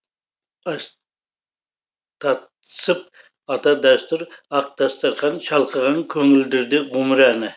ас тат сып ата дәстүр ақ дастарқан шалқыған көңілдерде ғұмыр әні